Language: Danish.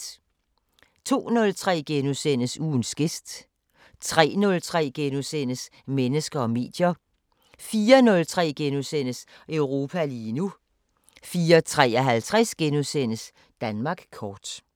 02:03: Ugens gæst * 03:03: Mennesker og medier * 04:03: Europa lige nu * 04:53: Danmark kort *